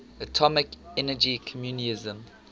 atomic energy commission